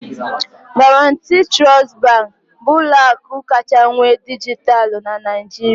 Guaranty Trust Bank bụ ụlọ akụ kacha nwee dijitalụ na Nigeria